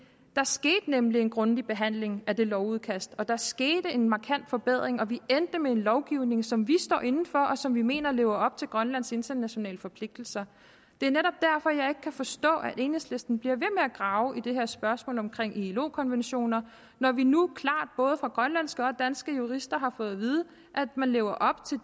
der skete nemlig en grundig behandling af det lovudkast og der skete en markant forbedring og vi endte med en lovgivning som vi står inde for og som vi mener lever op til grønlands internationale forpligtelser det er netop derfor jeg ikke kan forstå at enhedslisten bliver ved med at grave i det her spørgsmål om ilo konventioner når vi nu klart både af grønlandske og danske jurister har fået at vide at man lever op til